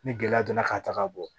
Ni gɛlɛya donna k'a ta ka bɔ